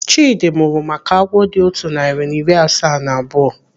Chidi mụrụ maka agwọ dị otu narị na iri asaa na abụọ.